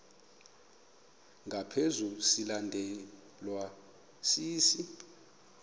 ngaphezu silandelwa sisi